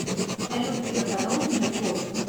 салют греф одолжит мне сотку